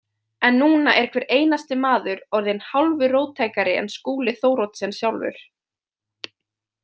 En núna er hver einasti maður orðinn hálfu róttækari en Skúli Thoroddsen sjálfur.